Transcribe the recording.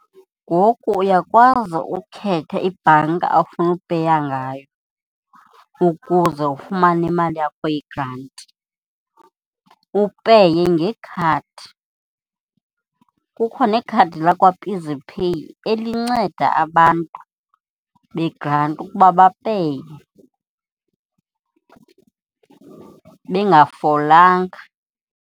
Ngoku uyakwazi ukhetha ibhanki afuna upeya ngayo ukuze ufumane imali yakho yegranti, upeye ngekhadi. Kukho nekhadi lakwaEasyPay elinceda abantu begranti ukuba bapeye ningafolanga.